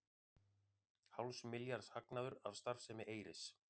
Hálfs milljarðs hagnaður af starfsemi Eyris